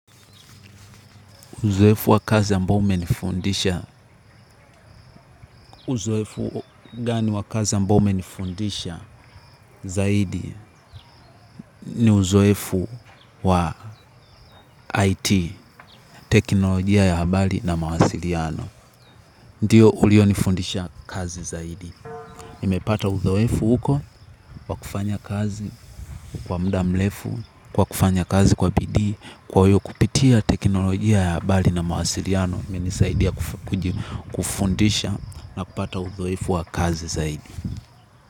Uzoefu wa kazi ambao umenifundisha ambao umenifundisha zaidi ni uzoefu wa IT, teknolojia ya habari na mawasiliano. Ndio ulionifundisha kazi zaidi. Nimepata uzoefu huko wa kufanya kazi kwa muda mrefu kwa kufanya kazi kwa bidii. Kwa hio kupitia teknolojia ya habari na mawasiliano imenisaidia kufundisha na kupata uzoefu wa kazi zaidi.